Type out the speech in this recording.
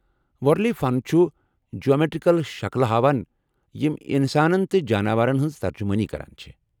وارلی فن چُھ جیومیٹریکل شکلہ ہاوان یم انسانن تہٕ جاناوارن ہنز ترجُمٲنی كران چھِ ۔